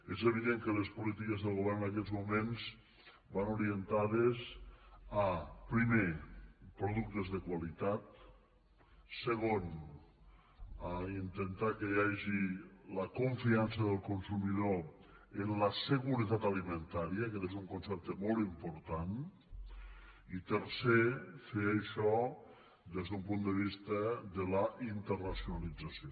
és evident que les polítiques del govern en aquests moments van orientades a primer productes de qualitat segon intentar que hi hagi la confiança del consumidor en la seguretat alimentària aquest és un concepte molt important i tercer fer això des d’un punt de vista de la internacionalització